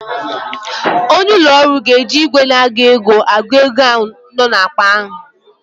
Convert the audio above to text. Onye ụlọ ọrụ ga-eji ìgwè na-agụ ego agụ ego nọ n'akpa a.